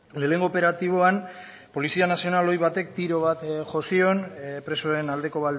lehenengo operatiboan polizia nazional ohi batek tiro bat jo zion presoen aldeko